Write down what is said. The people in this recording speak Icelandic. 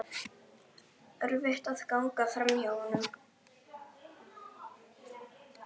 Erfitt er að ganga framhjá honum.